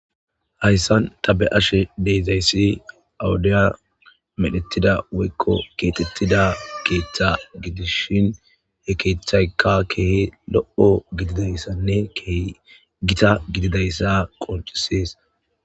hayssan ta be7ashe de7izayssi ha wudiya medhettida woykko keexettida keeththa gidishin he keeththayka kehi lo7o gididayssanne kehi gita gididayssa qoncisees.